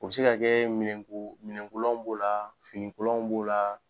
U bɛ se ka kɛ minɛn ko minɛn kolan b'o la finikolon b'o la.